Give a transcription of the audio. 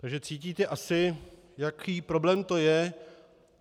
Takže cítíte asi, jaký problém to je.